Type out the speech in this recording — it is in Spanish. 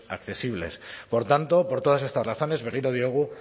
accesibles por tanto por todas estas razones berriro diogu